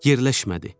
Yerləşmədi.